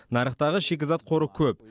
нарықтағы шикізат қоры көп